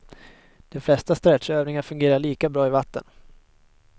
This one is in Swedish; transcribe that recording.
De flesta stretchövningar fungerar lika bra i vatten.